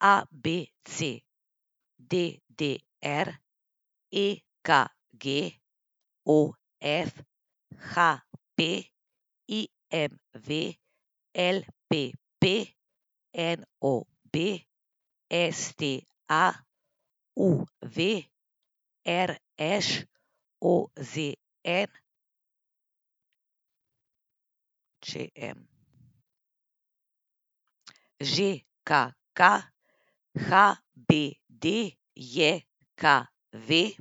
A B C; D D R; E K G; O F; H P; I M V; L P P; N O B; S T A; U V; R Š; O Z N; Č M; Ž K K; H B D J K V;